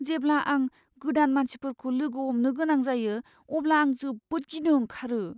जेब्ला आं गोदान मानसिफोरखौ लोगो हमनो गोनां जायो, अब्ला आं जोबोद गिनो ओंखारो।